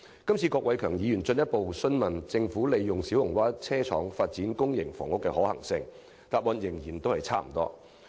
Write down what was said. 這次郭偉强議員進一步問及利用小蠔灣車廠發展公營房屋的可行性，但局長答覆仍然是差不多。